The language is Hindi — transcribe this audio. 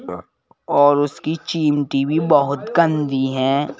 और उसकी चीन टी_वी बहुत गंदी हैं।